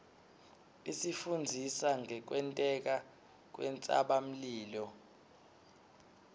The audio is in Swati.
isifundzisa ngekwenteka kwentsabamlilo